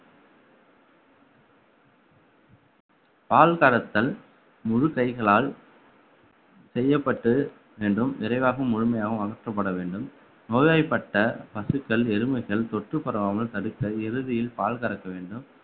பால் கறத்தல் முழு கைகளால் செய்யப்பட்டு என்றும் விரைவாகவும் முழுமையாகவும் அகற்றப்பட வேண்டும் நோய்வாய்ப்பட்ட பசுக்கள் எருமைகள் தொற்று பரவாமல் தடுக்க இறுதியில் பால் கறக்க வேண்டும்